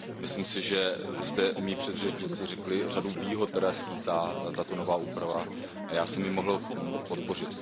Myslím si, že zde moji předřečníci řekli řadu výhod, které skýtá tato nová úprava, a já jsem ji mohl podpořit.